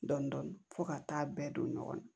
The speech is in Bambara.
Dɔndɔni fɔ ka taa bɛɛ don ɲɔgɔn na